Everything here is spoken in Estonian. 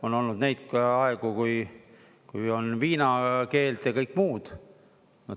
On olnud neid aegu, kui on viinakeeld ja kõik muud.